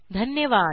धन्यवाद